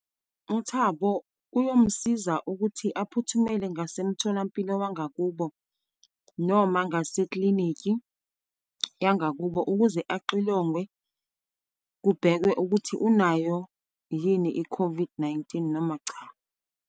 UThabo kuyomsiza ukuthi aphuthumele ngasemtholampilo wangakubo, noma ngaseklinikhi yangakubo, ukuze axilongwe, kubhekwe ukuthi unayo yini i-COVID-19 noma cha.